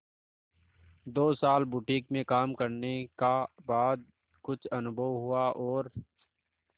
दो साल बुटीक में काम करने का बाद कुछ अनुभव हुआ और